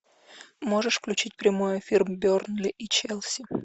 можешь включить прямой эфир бернли и челси